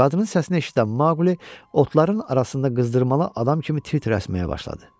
Qadının səsini eşidən Maqli otların arasında qızdırmalı adam kimi tir-tir əsməyə başladı.